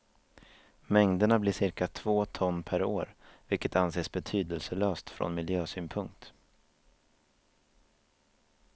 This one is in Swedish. Mängderna blir cirka två ton per år, vilket anses betydelselöst från miljösynpunkt.